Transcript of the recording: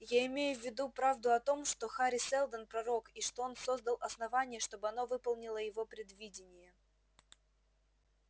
я имею в виду правду о том что хари сэлдон пророк и что он создал основание чтобы оно выполнило его предвидение